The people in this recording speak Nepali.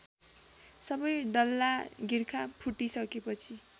सबै डल्लागिर्खा फुटिसकेपछि